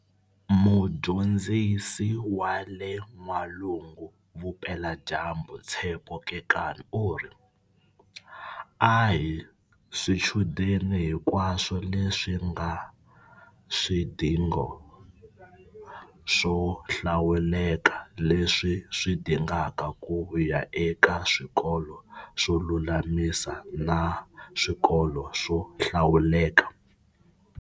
Mudyondzisi wa le N'walungu-Vupeladyambu Tshepo Kekana u ri, A hi swichudeni hinkwaswo leswi nga swidingo swo hlawuleka leswi swi dingaka ku ya eka swikolo swo lulamisa na swikolo swo hlawuleka.